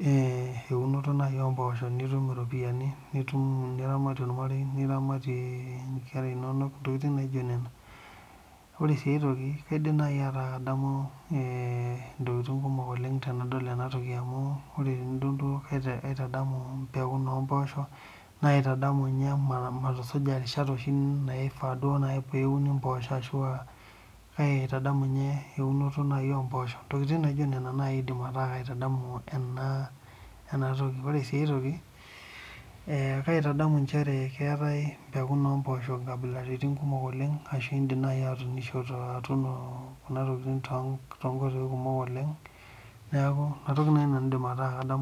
naa eunoto oo mboshok nitum eropiani niramatie ormarei lino ntokitin naijio nena ore aitoki naa kaidim atadamu ntokitin kumok tenadol ena amu kaitadamu mbekun omboshok matusuja erishat oshii naishaa neuni mboshok kaitadamu ninye naaji eunoto oo mboshok ntokitin naijio nena eku kaitadamu ena toki ore sii aitoki kaitadamu Ajo keetae nkabilaritin oo mboshok kumok oleng ashu edim naaji atunisho atuno too nkoitoi kumok oleng neeku enatoki naaji nanu aidim ataa kadamu